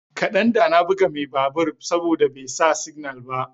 kadan da na buga mai babur saboda bai sa signal ba.